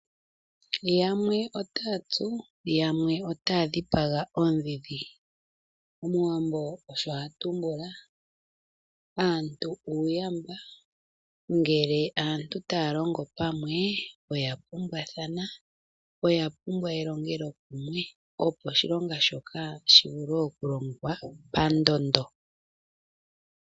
Yamwe otaya tsu yamwe otaya dhipaga oodhidhi, omuwambo osho atumbula. Aantu uuyamba ngele aantu taya longo pamwe oya pumbwathana, oya pumbwa elongelo kumwe opo oshilonga shoka shivule okulongwa pandondo.